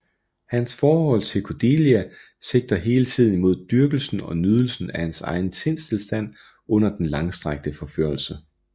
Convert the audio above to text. Hans forhold til Cordelia sigter hele tiden imod dyrkelsen og nydelsen af hans egen sindstilstand under den langstrakte forførelse